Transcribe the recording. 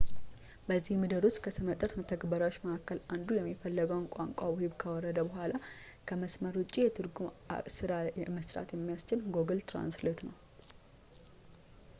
በዚህ ምድብ ውስጥ ከስመጥር መተግበሪያች መካከል አንዱ የሚፈለገውን ቋንቋ ውሂብ ካወረደ በኋላ ከመስመር ውጪ የትርጉም ስራ ለመስራት የሚያስችለው ጉግል ትራንስሌት ነው